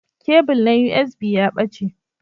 Kebul na USB ya ɓace.